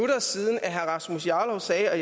så er